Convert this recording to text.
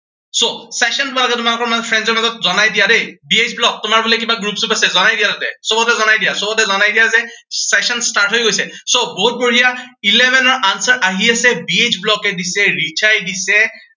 so session তোমালোকে তোমালোকৰ মাজত friends ৰ মাজত জনাই দিয়া দেই। বি এইচ ব্লগ, তোমাৰ বোলে কিবা group চ্ৰপ আছে, জনাই দিয়া তাতে, সৱতে জনাই দিয়া, সৱতে জনাই দিয়া, যে session start হৈ গৈছে। so বহুত বঢ়িয়া. eleven ৰ answer আহি আছে। বি এইচ ব্লগে দিছে, ৰিচাই দিছে